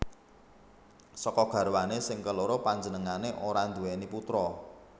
Saka garwané sing keloro panjenengané ora nduwèni putra